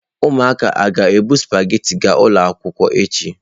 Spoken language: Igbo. Ụmụaka a ga-ebu sụpaghetị ga ụlọ akwụkwọ echi?